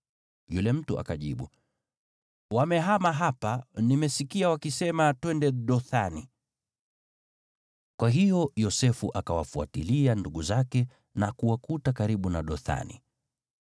Yule mtu akajibu, “Wamehama hapa. Nilisikia wakisema, ‘Twende Dothani.’ ” Kwa hiyo Yosefu akawafuatilia ndugu zake na kuwakuta karibu na Dothani.